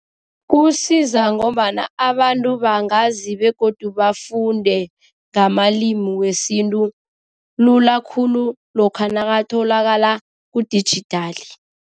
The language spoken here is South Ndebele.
Kusiza ngombana abantu bangazi begodu bafunde ngamalimi wesintu lula khulu lokha nakatholakala kudijithali.